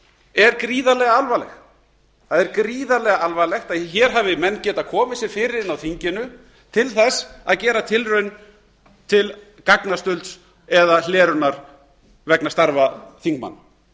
er gríðarlega alvarlegt það er gríðarlega alvarlegt að hér hafi menn getað komið sér fyrir inni á þinginu til að gera tilraun til gagnastulds eða hlerunar vegna starfa þingmanna